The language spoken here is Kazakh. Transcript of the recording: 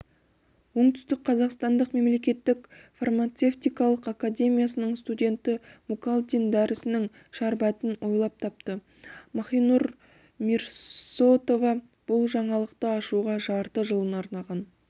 оңтүстік қазақстан мемлекеттік фармацевтикалық академиясының студенті мукалтин дәрісінің шәрбәтін ойлап тапты махинур мирсоатова бұл жаңалықты ашуға жарты жылын арнаған